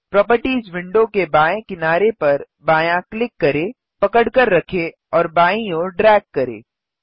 properties window के बाएँ किनारे पर बायाँ क्लिक करें पकड़कर रखें और बाईं ओर ड्रैग करें